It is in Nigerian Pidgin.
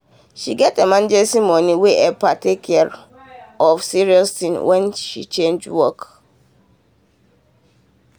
she get emergency money wey help her take care of serious things when she change work.